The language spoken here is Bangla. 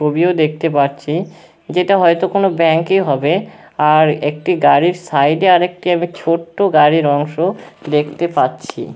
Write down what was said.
ছবিও দেখতে পাচ্ছি যেটা হয়তো কোনো ব্যাঙ্ক ই হবে আর একটি গাড়ির সাইড এ আমি একটা ছোট্ট গাড়ির অংশ দেখতে পাচ্ছি।